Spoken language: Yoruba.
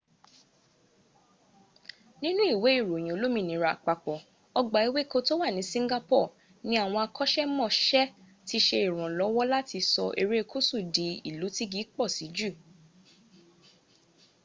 nínú ìwé ìròyìn olómìnira àpapọ̀ ọgbà ewéko to wà ní singapore ní àwọn akọ́ṣẹ́mọṣẹ ti ṣe ìrànlọ́wọ́ láti sọ erékùsù di ìlú tígi pọ̀ sí jù